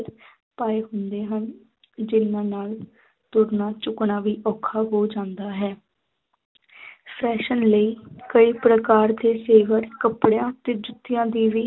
ਪਾਏ ਹੁੰਦੇ ਹਨ ਜਿਹਨਾਂ ਨਾਲ ਤੁਰਨਾ ਝੁਕਣਾ ਵੀ ਔਖਾ ਹੋ ਜਾਂਦਾ ਹੈ fashion ਲਈ ਕਈ ਪ੍ਰਕਾਰ ਦੇ ਜੇਵਰ ਕੱਪੜਿਆਂ ਅਤੇ ਜੁੱਤਿਆਂ ਦੀ ਵੀ